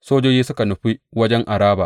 Sojojin suka nufi wajen Araba.